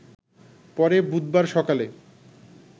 পরে বুধবার সকালে